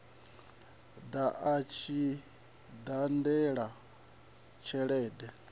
ḓa a tshi badela tshelede